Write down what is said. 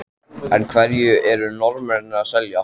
En af hverju eru Norðmennirnir að selja?